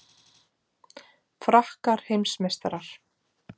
Frakkar heimsmeistarar